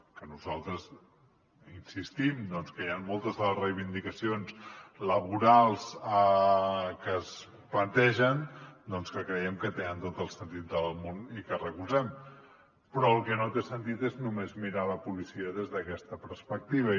que nosaltres insistim que hi han moltes de les reivindicacions laborals que es plantegen que creiem que tenen tot el sentit del món i que recolzem però el que no té sentit és només mirar la policia des d’aquesta perspectiva